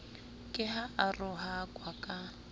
ke ha a rohakwa ka